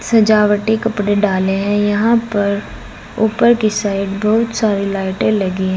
सजावटी कपड़े डाले हैं यहां पर ऊपर की साइड बहुत सारी लाइटे लगी है।